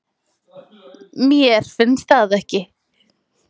Mér finnst það ekki